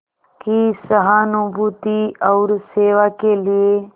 की सहानुभूति और सेवा के लिए